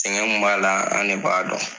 Sɛgɛn min b'a la an de b'a dɔn